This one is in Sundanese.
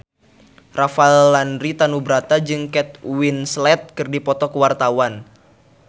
Rafael Landry Tanubrata jeung Kate Winslet keur dipoto ku wartawan